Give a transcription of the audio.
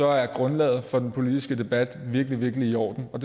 er grundlaget for den politiske debat virkelig virkelig i orden og